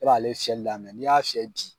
E b'ale fiyɛli daminɛ, n'i y'a fiyɛ bi